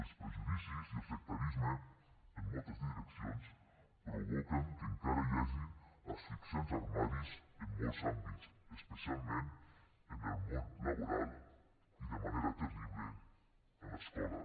els prejudicis i el sectarisme en moltes direccions provoquen que encara hi hagi asfixiants armaris en molts àmbits especialment en el món laboral i de manera terrible a l’escola